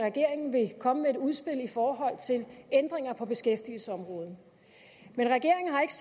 at regeringen vil komme med et udspil i forhold til ændringer på beskæftigelsesområdet men regeringen har ikke